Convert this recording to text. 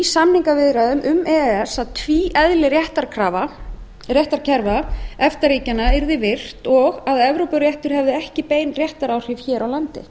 samningaviðræðum um e e s og tvíeðli réttarkerfa efta ríkjanna yrði virt og að evrópuréttur hefði ekki bein réttaráhrif hér á landi